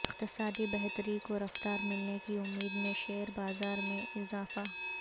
اقتصادی بہتری کو رفتار ملنے کی امید میں شیئر بازار میں اضافہ